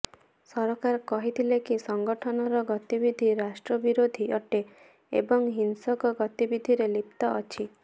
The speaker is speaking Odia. ସରକାର କହିଥିଲେ କି ସଂଗଠନର ଗତିବିଧି ରାଷ୍ଟ୍ରବିରୋଧୀ ଅଟେ ଏବଂ ହିଂସକ ଗତିବିଧିରେ ଲିପ୍ତ ଅଛି